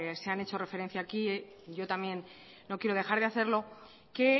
se han hecho referencia aquí yo también no quiero dejar de hacerlo que